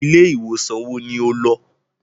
Ilé ìwòsàn wo ní o lọ?